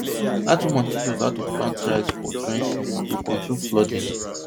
dat woman teach us how to plant rice for terraces to control flooding